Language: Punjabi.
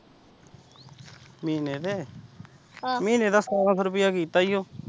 ਮਹੀਨੇ ਦੇ, ਮਹੀਨੇ ਦਾ ਸਤਾਰਾਂ ਸੋ ਰੁਪਇਆ ਕੀਤਾ ਈ ਓ।